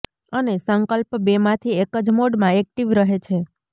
અને સંકલ્પ બેમાંથી એક જ મોડમાં એક્ટીવ રહે છે